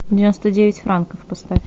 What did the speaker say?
девяносто девять франков поставь